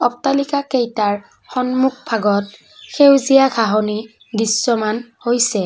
অট্টালিকাকেইটাৰ সন্মুখভাগত সেউজীয়া ঘাঁহনি দৃশ্যমান হৈছে।